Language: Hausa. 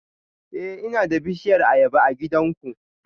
Eh ina da bishiyar ayaba a gidanku